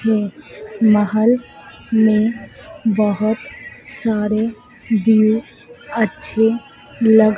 के महल में बहोत सारे व्यू अच्छे लग --